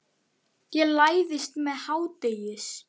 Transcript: Ég læðist með hádegis